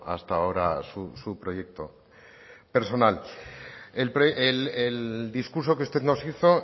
hasta ahora su proyecto personal el discurso que usted nos hizo